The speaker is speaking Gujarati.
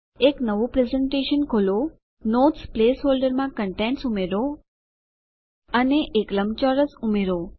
એક નવું પ્રેસેનટેશન ખોલો નોટ્સ પ્લેસ હોલ્ડરમાં કન્ટેનટ્સ ઉમેરો અને એક લંબચોરસ ઉમેરો